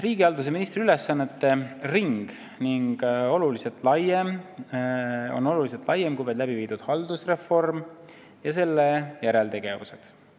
" Riigihalduse ministri ülesannete ring on palju laiem kui vaid läbiviidud haldusreform ja selle järeltegevused.